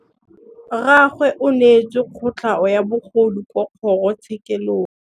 Rragwe o neetswe kotlhaô ya bogodu kwa kgoro tshêkêlông.